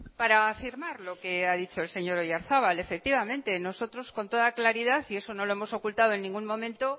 para afirmar lo que ha dicho el señor oyarzabal efectivamente nosotros con toda claridad y eso no lo hemos ocultado en ningún momento